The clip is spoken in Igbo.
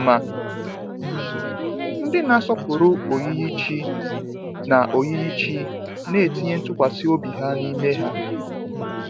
Ma ndị na asọpụrụ oyiyi chi na oyiyi chi na etinye ntụkwasị obi ha n’ime ha.